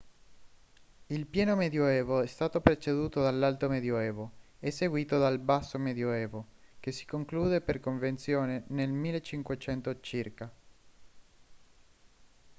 il pieno medioevo è stato preceduto dall'alto medioevo e seguito dal basso medioevo che si conclude per convenzione nel 1500 circa